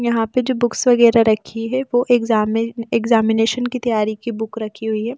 यहां पे जो बुक्स वगैरह रखी है वो एग्जाम में एग्जामिनेशन की तैयारी की बुक रखी हुई है।